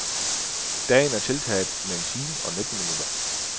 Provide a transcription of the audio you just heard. Dagen er tiltaget med en time og nitten minutter.